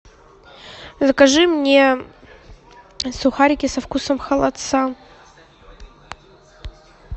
закажи мне сухарики со вкусом холодца